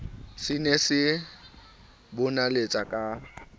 se ne se bonaletsa ka